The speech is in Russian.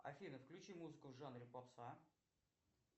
афина включи музыку в жанре попса